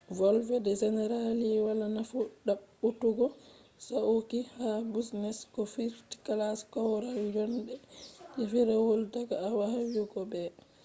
volde generally wala nafu ɗaɓɓutugo sauqi ha business ko first-class korwal jonde je firawol daga a yahugo b